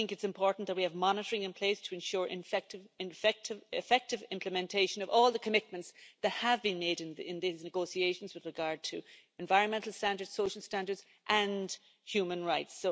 I think it's important that we have monitoring in place to ensure the effective implementation of all the commitments that have been made in these negotiations with regard to environmental standards, social standards and human rights.